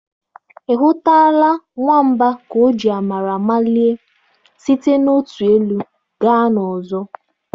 Ị hụtụla nwamba ka o ji amara malie site n'otu elu gaa n'ọzọ?